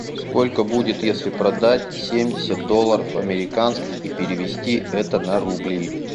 сколько будет если продать семьдесят долларов американских и перевести это на рубли